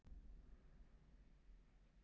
Stendur við útreikninginn